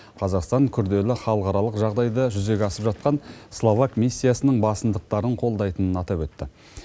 қазақстан күрделі халықаралық жағдайда жүзеге асып жатқан словак миссиясының басымдықтарын қолдайтынын атап өтті